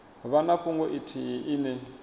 vha na fhungo ithihi ine